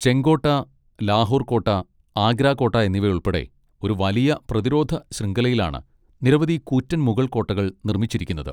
ചെങ്കോട്ട, ലാഹോർ കോട്ട, ആഗ്ര കോട്ട എന്നിവയുൾപ്പെടെ ഒരു വലിയ പ്രതിരോധ ശൃംഖലയിലാണ് നിരവധി കൂറ്റൻ മുഗൾ കോട്ടകൾ നിർമ്മിച്ചിരിക്കുന്നത്.